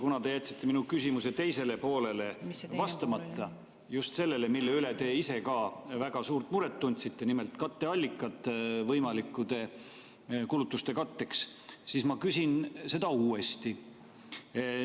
Kuna te jätsite mu küsimuse teisele poolele vastamata, just sellele, mille üle te ise ka väga suurt muret tundsite, nimelt katteallikad võimalike kulutuste katteks, siis ma küsin seda uuesti.